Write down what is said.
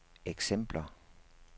eksempler